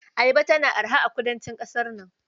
Ayaba tana araha kudancin ƙasar nan.